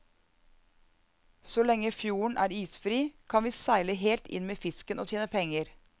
Så lenge fjorden er isfri, kan vi seile helt inn med fisken og tjene penger.